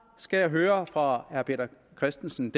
skal jeg fra herre peter christensen